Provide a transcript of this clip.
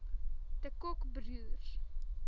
de kock broers